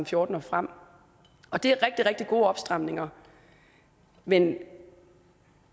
fjorten og frem og det er rigtig rigtig gode opstramninger men